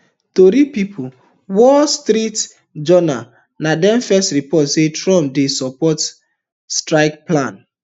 tori pipo wall street journal na dem first report say trump dey support strike plans